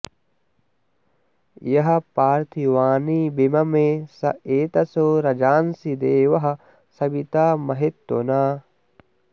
यः पार्थि॑वानि विम॒मे स एत॑शो॒ रजां॑सि दे॒वः स॑वि॒ता म॑हित्व॒ना